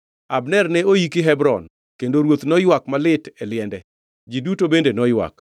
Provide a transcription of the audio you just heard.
Abner ne oiki e piny Hebron, kendo ruoth noywak malit e liende. Ji duto bende noywak.